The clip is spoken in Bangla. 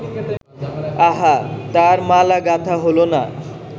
আহা, তার মালা গাঁথা হ’ল না